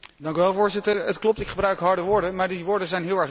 Het klopt, ik gebruik harde woorden, maar die woorden zijn heel erg duidelijk.